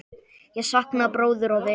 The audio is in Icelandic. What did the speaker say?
Ég sakna bróður og vinar.